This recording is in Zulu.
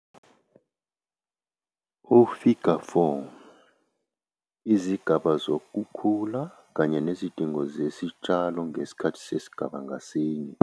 Ufiga 4- Izigaba zokukhula kanye nezidingo zesitshalo ngesikhathi sesigaba ngasinye.